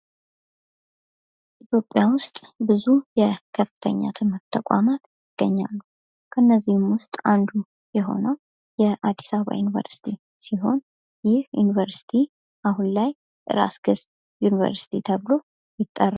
ኢትዮጵያ ውስጥ ብዙ የከፍተኛ ትምህርት ተቋማት ይገኛሉ። ከእነዚህም ውስጥ አንዱ የሆነው የአዲስ አበባ ዩኒቨርሲቲ ሲሆን ይህ ዩኒቨርስቲ አሁን ላይ ራስ ገዝ ዩኒቨርስቲ ተብሎ ይጠራል።